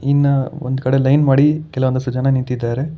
ಇನ್ನ ಒಂದ್ ಕಡೆ ಲೈನ್ ಮಾಡಿ ಕೆಲವೊಂದಿಷ್ಟು ಜನ ನಿಂತಿದ್ದಾರೆ.